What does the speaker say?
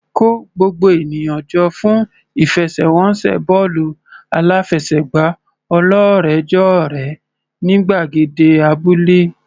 Kó gbogbo ènìyàn jọ fún ìfẹsẹ̀wọnsẹ̀ bọ́ọ̀lù aláfẹsẹ̀gbá ọlọ́rẹ̀ẹ́jọ̀rẹ́ ní gbàgede abúlé.